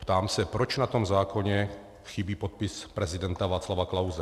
Ptám se, proč na tom zákoně chybí podpis prezidenta Václava Klause.